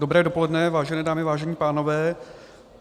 Dobré dopoledne, vážené dámy, vážení pánové.